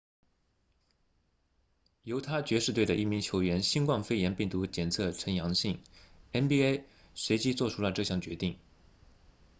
犹他爵士队的一名球员新冠肺炎病毒检测呈阳性 nba 随即做出了这项决定